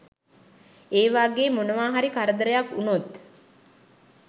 ඒ වාගේ මොනවාහරි කරදරයක් වුණොත්